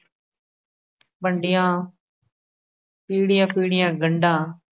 ਵੰਡੀਆ ਈੜੀਆ-ਪੀੜੀਆ ਗੰਢਾ